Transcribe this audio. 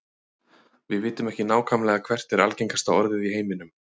Við vitum ekki nákvæmlega hvert er algengasta orðið í heiminum.